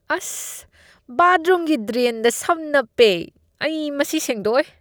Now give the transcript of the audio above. ꯑꯁ! ꯕꯥꯊꯔꯨꯝꯒꯤ ꯗ꯭ꯔꯦꯟꯗ ꯁꯝ ꯅꯞꯄꯦ꯫ ꯑꯩ ꯃꯁꯤ ꯁꯦꯡꯗꯣꯛꯑꯣꯏ꯫